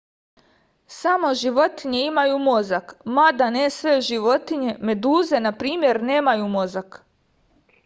само животиње имају мозак мада не све животиње; медузе на пример немају мозак